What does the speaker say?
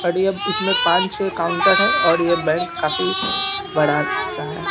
और ये अब इसमे पाँच-छह काउन्टर है और ये बैंक काफी बड़ा सा है।